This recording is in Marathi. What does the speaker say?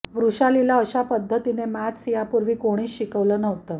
वृषालीला अशा पद्धतीने मॅथस यापूर्वी कोणीच शिकवलं नव्हतं